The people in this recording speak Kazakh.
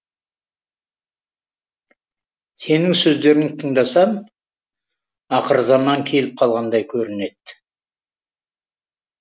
сенің сөздеріңді тыңдасам ақырзаман келіп қалғандай көрінеді